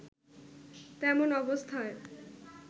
তেমন অবস্থায়